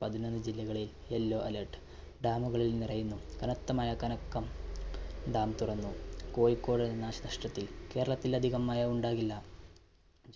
പതിനൊന്നു ജില്ലകളില്‍ yellow alert. dam കളില്‍ നിറയുന്നു കനത്ത മഴ കണക്കം dam തുറന്നു. കോഴിക്കോട് നാശ നഷ്ട്ടത്തില്‍. കേരളത്തില്‍ അധികം മഴ ഉണ്ടാകില്ല.